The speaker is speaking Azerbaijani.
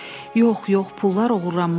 Yox, yox, pullar oğurlanmışdı.